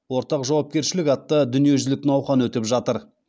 ортақ жауапкершілік атты дүниежүзілік науқан өтіп жатыр